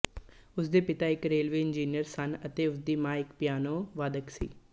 ਉਸਦੇ ਪਿਤਾ ਇੱਕ ਰੇਲਵੇ ਇੰਜੀਨੀਅਰ ਸਨ ਅਤੇ ਉਸਦੀ ਮਾਂ ਇੱਕ ਪਿਆਨੋਵਾਦਕ ਸੀ